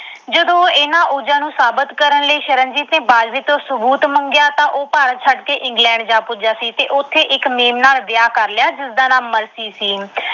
ਜਦੋਂ ਇਹਨਾਂ ਨੂੰ ਸਾਬਤ ਕਰਨ ਲਈ ਸ਼ਰਨਜੀਤ ਨੇ ਬਾਜਵੇ ਤੋਂ ਸਬੂਤ ਮੰਗਿਆ, ਤਾਂ ਉਹ ਭਾਰਤ ਛੱਡ ਕੇ England ਜਾ ਪੁਜਿਆ ਸੀ ਤੇ ਉਥੇ ਇਕ mem ਨਾਲ ਵਿਆਹ ਕਰ ਲਿਆ, ਜਿਸਦਾ ਨਾਮ ਮਰਸੀ ਸੀ।